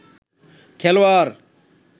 খেলোয়ার